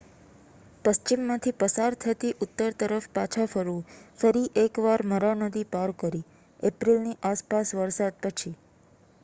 પશ્ચિમમાંથી પસાર થતી ઉત્તર તરફ પાછા ફરવું ફરી એક વાર મરા નદી પાર કરી એપ્રિલની આસપાસ વરસાદ પછી